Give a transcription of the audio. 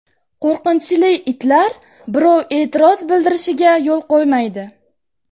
Qo‘rqinchli itlar birov e’tiroz bildirishiga yo‘l qo‘ymaydi.